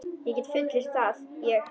Ég get fullyrt það, ég.